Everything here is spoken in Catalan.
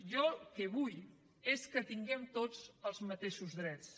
jo el que vull és que tinguem tots els mateixos drets